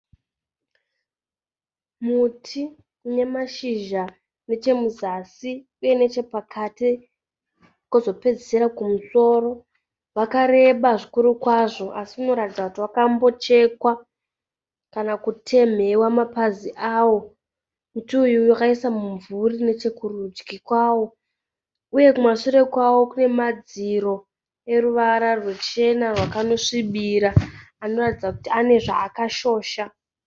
Muti une mashizha nechemuzasi, uye nechepakati kozopedzesera kumusoro. Wakareba zvikuru kwazvo asi unoratidza kuti wakambo chekwa kana kutemhewa mapazi awo. Muti uyu wakaisa mumvuri neche kurudyi kwawo. Uye kumasure kwawo kune madziro eruvara rwechena rwakano svibira anoratidza kuti ane zvaakashosha.